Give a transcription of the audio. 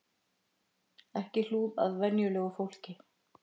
Ekki hlúð að venjulegu fólki